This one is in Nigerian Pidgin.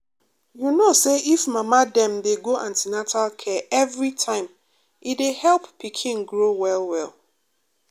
you know say if mama dem dey go an ten atal care every time e dey help pikin grow well well.